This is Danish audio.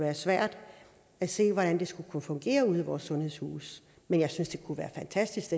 er svært at se hvordan det skulle fungere ude i vores sundhedshuse men jeg synes det kunne være fantastisk